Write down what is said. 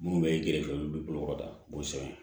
Minnu bɛ gɛrɛ olu bolokɔrɔda b'o sɛbɛn